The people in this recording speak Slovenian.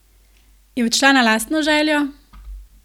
Je odšla na lastno željo?